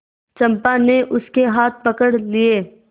चंपा ने उसके हाथ पकड़ लिए